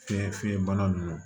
Fiɲɛ fiɲɛbana ninnu